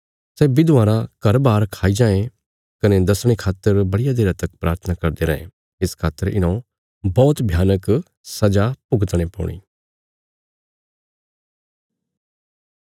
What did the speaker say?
सै विधवां रा घर बार खाई जांये कने दसणे खातर बड़िया देरा तक प्राथना करदे रैं इस खातर इन्हौं बौहत भयानक सजा भुगतणे पौणी